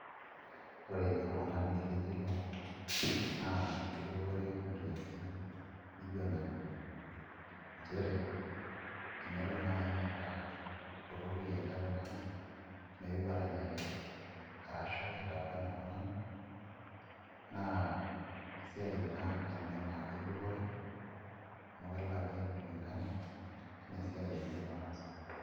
Ore oltung'ani lijio ilo naa kedupore nkiasin nijio nena, enelo naai metaa ipotoki ele tung'ani meeu aranyaki arash itakuani iltung'anak naa esiai ina naa kedupore amu keleki kulingana enaa esiai enye nataasa.